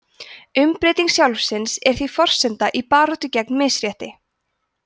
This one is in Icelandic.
umbreyting sjálfsins er því forsenda í baráttu gegn misrétti